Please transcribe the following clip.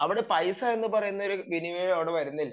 അവിടെ പൈസ എന്ന് പറയുന്ന ഒരു വിനിമയം അവിടെ വരുന്നില്ല